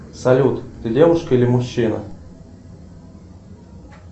салют ты девушка или мужчина